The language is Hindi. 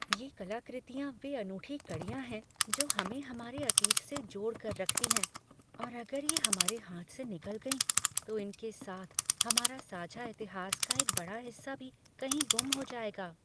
ये कलाकृतियाँ वे अनूठी कड़ियाँ हैं जो हमें हमारे अतीत से जोड़कर रखती हैं और अगर ये हमारे हाथ से निकल गईं, तो इनके साथ हमारे साझा इतिहास का एक बड़ा हिस्सा भी कहीं गुम हो जाएगा।